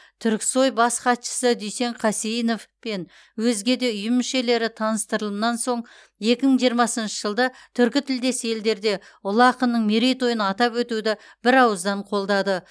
түрксой бас хатшысы дүйсен қасейінов пен өзге де ұйым мүшелері таныстырылымнан соң екі мың жиырмасыншы жылды түркі тілдес елдерде ұлы ақынның мерейтойын атап өтуді бір ауыздан қолдады